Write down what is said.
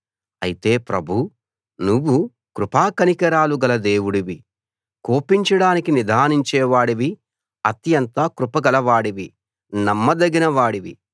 అయితే ప్రభూ నువ్వు కృపా కనికరాలు గల దేవుడివి కోపించడానికి నిదానించే వాడివి అత్యంత కృపగల వాడివి నమ్మదగిన వాడివి